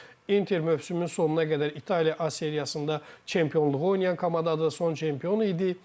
Inter mövsümün sonuna qədər İtaliya A seriyasında çempionluğu oynayan komandadır, son çempion idi.